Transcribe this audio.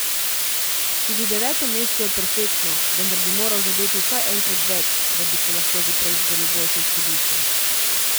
Tudi deveto mesto je perfektno, vendar bi moral zadeti vsaj enkrat več, da bi si lahko že prej izboril boljše izhodišče.